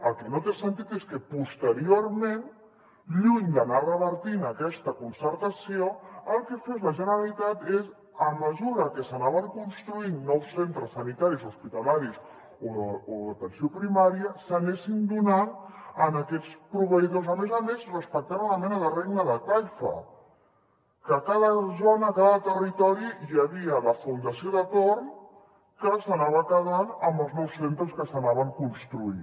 el que no té sentit és que posteriorment lluny d’anar revertint aquesta concertació el que fes la generalitat és a mesura que s’anaven construint nous centres sanitaris hospitalaris o d’atenció primària s’anessin donant a aquests proveïdors a més a més respectant una mena de regne de taifa que a cada zona a cada territori hi havia la fundació de torn que s’anava quedant amb els nous centres que s’anaven construint